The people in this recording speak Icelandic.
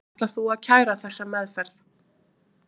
Ætlar þú að kæra þessa meðferð?